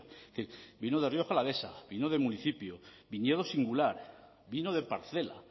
es decir vino de rioja alavesa vino de municipio viñedo singular vino de parcela